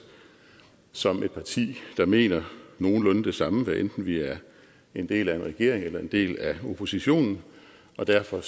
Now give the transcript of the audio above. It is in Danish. som et parti der mener nogenlunde det samme hvad enten vi er en del af en regering eller en del af oppositionen og derfor